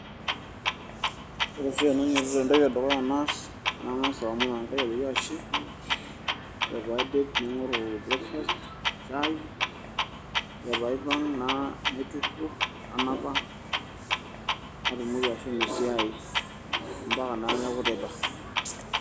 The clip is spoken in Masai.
Ore oshi tenainyiototo entoki edukuya naas naa kang'as aomon enkai ajoki ashe ore pee aidip naing'oru breakfast shaai ore pee aipang naitukuo nanapa natumoki ashomo esiai ompaka naa neeku teipa.